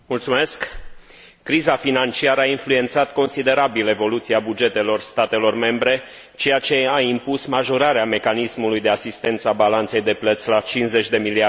Criza financiară a influențat considerabil evoluția bugetelor statelor membre, ceea ce a impus majorarea mecanismului de asistență a balanței de plăți la 50 de miliarde de euro.